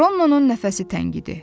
Ronnonun nəfəsi təngidi.